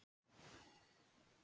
Að fá svona tækifæri!